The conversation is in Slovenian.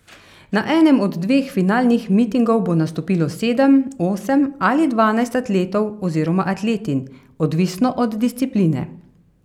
Na enem od dveh finalnih mitingov bo nastopilo sedem, osem ali dvanajst atletov oziroma atletinj, odvisno od discipline.